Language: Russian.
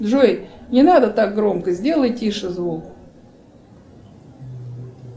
джой не надо так громко сделай тише звук